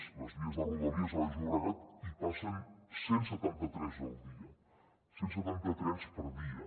a les vies de rodalies a baix llobregat hi passen cent i setanta tres al dia cent i setanta trens per dia